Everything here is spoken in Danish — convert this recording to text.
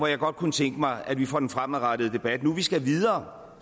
jeg godt kunne tænke mig at det for den fremadrettede debat nu hvor vi skal videre